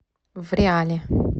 вреале